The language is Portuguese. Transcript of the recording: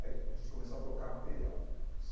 Aí a gente começou a trocar material.